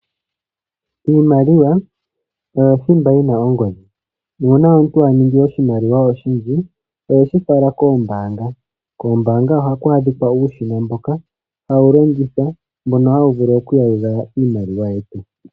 Iimaliwa oyo thimba yina ongodhi , nuuna omuntu aningi oshimaliwa oshindji oheshifala koombanga , kombanga ohaku adhika uushina mboka hawu longithwa mbono hawuvulu okuyalula iimaliwa yetu.